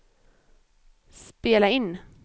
spela in